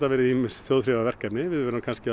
verið ýmis þjóðþrifaverkefni við verðum kannski